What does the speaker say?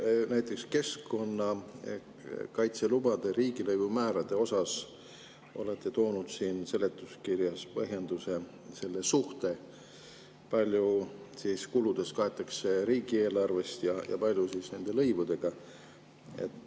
Te näiteks keskkonnakaitselubade riigilõivu määrade kohta olete toonud seletuskirjas põhjenduseks selle suhte, kui palju kuludest kaetakse riigieelarvest ja kui palju nende lõivudega.